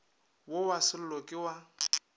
wo wa sello ke wa